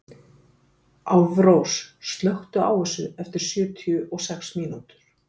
Álfrós, slökktu á þessu eftir sjötíu og sex mínútur.